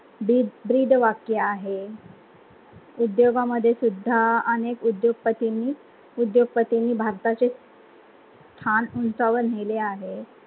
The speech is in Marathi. बी ब्रीद वाक्य आहे, उद्योगा मध्ये सुद्धा अनेक उध्योग पटींनी उध्योग पटींनी भारताचे स्थान उंचावर नेहले आहे.